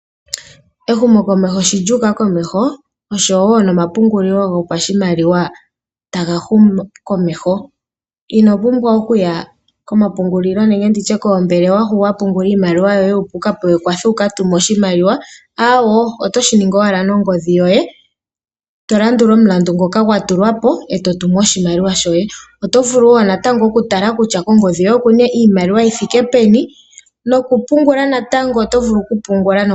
Ehumokomeho sho lya uka komeho oshowo nomapungulilo gopashimaliwa taga humu komeho. Ino pumbwa okuya komapungulilo nenge nditye koombelewa hoka wa pungula iimaliwa yoye opo wu ka pewe ekwatho wu ka tume oshimaliwa, aawo. Oto shi ningi owala nongodhi yoye, to landula omulandu ngoka gwa tulwa po, e to tumu oshimaliwa shoye. Oto vulu wo okutala kutya kongodhi yoye okuna iimaliwa yi thiike peni nokupungula natango oto vulu okupungula nongodhi.